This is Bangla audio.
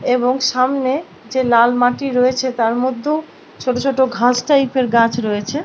এবং সামনে যে লাল মাটি রয়েছে তার মধ্যেও ছোট ছোট ঘাস টাইপ -এর গাছ রয়েছে।